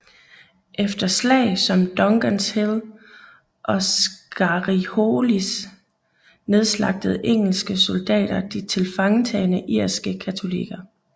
Efter slag som Dungans Hill og Scarrifholis nedslagtede engelske soldater de tilfangetagne irske katolikker